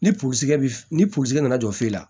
Ni purusɛgɛ ni purusikɛ nana jɔ f'i la